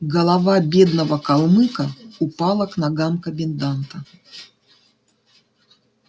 голова бедного калмыка упала к ногам коменданта